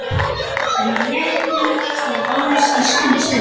En léttirinn stóð aðeins í skamma stund.